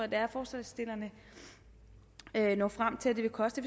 det er forslagsstillerne når frem til at det vil koste